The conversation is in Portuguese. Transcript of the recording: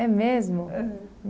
É mesmo? É